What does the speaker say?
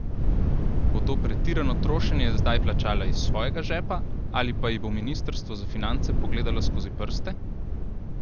Bo to pretirano trošenje zdaj plačala iz svojega žepa ali pa ji bo ministrstvo za finance pogledalo skozi prste?